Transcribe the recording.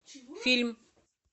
фильм